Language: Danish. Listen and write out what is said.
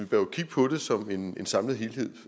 jo kigge på det som en samlet helhed